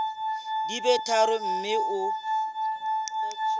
di be tharo mme o